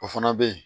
O fana bɛ ye